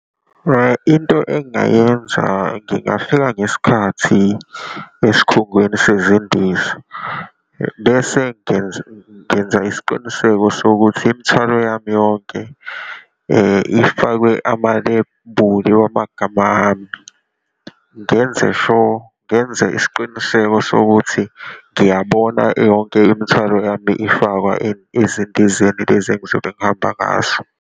Into engingayenza ngingafika ngesikhathi esikhungweni sezindiza, bese ngenza ngenza isiqiniseko sokuthi imithwalo yami yonke ifakwe amalebuli wamagama ami, ngenze sure, ngenze isiqiniseko sokuthi ngiyabona yonke imithwalo yami ifakwa ezindizeni lezi engizobe ngihamba ngazo.